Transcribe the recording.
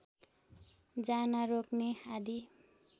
जान रोक्ने आदि